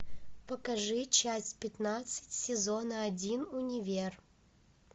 покажи часть пятнадцать сезона один универ